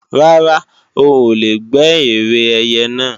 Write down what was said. Rárá, o ò lè gbé ère ẹyẹ náà